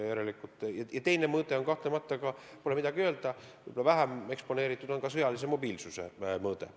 Ja pole midagi teha, teine argument on – seda on võib-olla vähem eksponeeritud – sõjalise mobiilsuse mõõde.